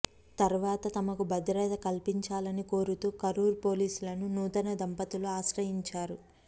తర్వాత తమకు భద్రత కల్పించాలని కోరుతూ కరూరు పోలీసులను నూతన దంపతులు ఆశ్రయించారు